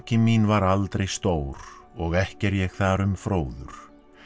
mín var aldrei stór og ekki er ég þar um fróður